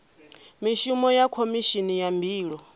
mishumo ya khomishini ya mbilo